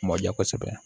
Mɔ ja kosɛbɛ